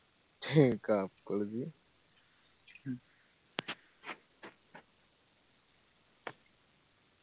he couples